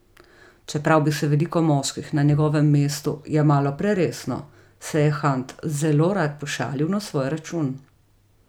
Čeprav bi se veliko moških na njegovem mestu jemalo preresno, se je Hunt zelo rad pošalil na svoj račun.